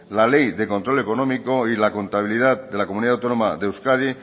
la ley de control económico y la contabilidad de la comunidad autónoma de euskadi